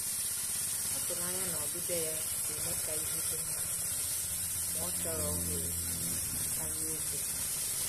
Ọ tụrụ anya na ọbịbịa ya ga-eme ka ihe dị mma, ma ọ chọrọ ohere karịa okwu.